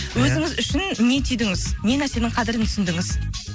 өзіңіз үшін не түйдіңіз не нәрсенің қадірін түсіндіңіз